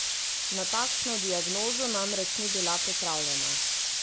Na takšno diagnozo namreč ni bila pripravljena.